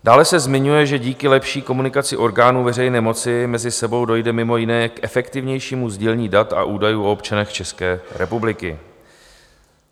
Dále se zmiňuje, že "díky lepší komunikaci orgánů veřejné moci mezi sebou dojde mimo jiné k efektivnějšímu sdílení dat a údajů o občanech České republiky".